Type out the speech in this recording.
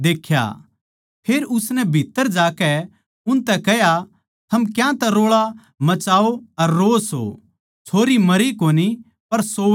फेर उसनै भीत्त्तर जाकै उनतै कह्या थम क्यांतै रोळा मचाओ अर रोओ सो छोरी मरी कोनी पर सोवै सै